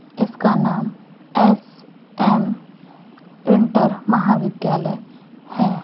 इसका नाम S M inter महाविद्यालय है।